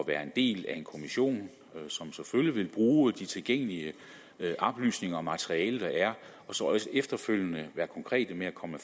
være en del af en kommission som selvfølgelig vil bruge de tilgængelige oplysninger og det materiale der er og så efterfølgende være konkrete med at komme